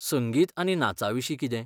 संगीत आनी नाचाविशीं कितें?